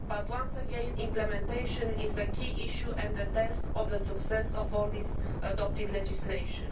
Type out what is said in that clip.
Once again, implementation is the key issue and the test of the success of all this adopted legislation.